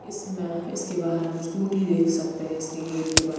इसमें इसके बाहर हम स्कूटी देख सकते है इसके गेट के बाहर--